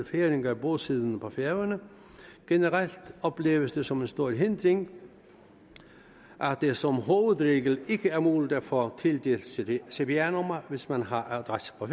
færinger bosiddende på færøerne generelt opleves det som en stor hindring at det som hovedregel ikke er muligt at få tildelt cpr cpr nummer hvis man har adresse på